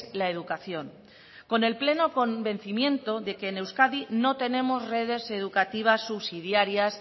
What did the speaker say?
la educación con el pleno convencimiento de que en euskadi no tenemos redes educativas subsidiarias